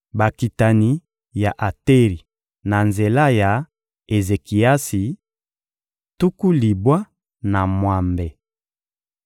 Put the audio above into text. Bakitani ya Ateri na nzela ya Ezekiasi: tuku libwa na mwambe.